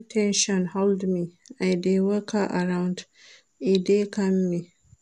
Wen ten sion hold me,I dey waka around, e dey calm me.